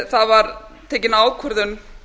það var tekin ákvörðun